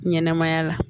Ɲɛnɛmaya la